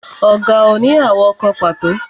Ọ̀gà ò ní àwọ̀ kan pàtó